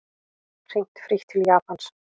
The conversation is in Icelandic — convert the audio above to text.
Hringt frítt til Japans